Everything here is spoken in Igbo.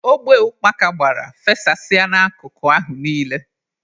Ogbe ukpaka gbara, fesasịa n'akụkụ ahụ niile.